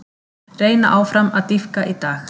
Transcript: Reyna áfram að dýpka í dag